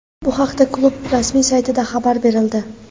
Bu haqida klub rasmiy saytida xabar berildi .